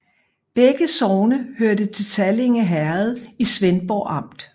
Begge sogne hørte til Sallinge Herred i Svendborg Amt